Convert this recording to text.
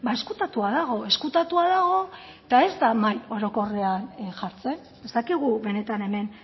ezkutatua dago ezkutatua dago eta ez da mahai orokorrean jartzen ez dakigu benetan hemen